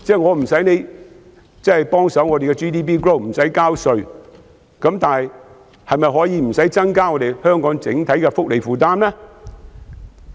我無須要求他幫忙提高 GDP， 也不要求他交稅，但是，是否無須增加香港整體的福利負擔呢？